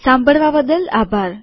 સાંભળવાબદ્દલ આભાર